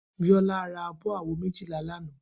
Biola rá ábò àwó méjilá làná